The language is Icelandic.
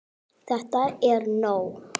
ÞETTA ER NÓG!